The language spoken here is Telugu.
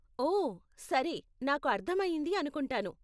ఓ, సరే, నాకు అర్ధమయ్యింది అనుకుంటాను.